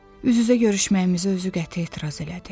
Üz-üzə görüşməyimizi özü qəti etiraz elədi.